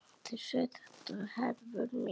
Þeir sögðu þetta, Hervör mín.